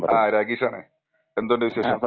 ആ രാജേഷ് ആണെ. എന്തുണ്ട് വിശേഷം?